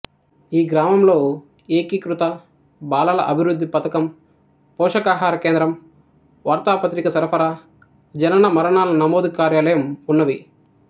ఈ గ్రామంలో ఏకీకృత బాలల అభివృద్ధి పథకం పోషకాహార కేంద్రం వార్తాపత్రిక సరఫరా జనన మరణాల నమోదు కార్యాలయం వున్నవి